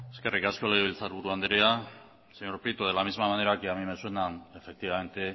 eskerrik asko legebiltzar buru andrea señor prieto de la misma manera que a mí me suena efectivamente